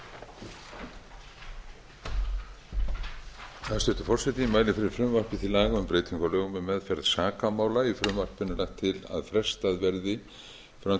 hæstvirtur forseti ég mæli fyrir frumvarpi til laga um breyting á lögum um meðferð sakamála í frumvarpinu er lagt til að frestað verði fram til